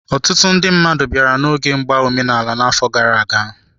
Ọtụtụ ndị mmadụ bịara n'oge mgba omenala anyị n'afọ gara aga.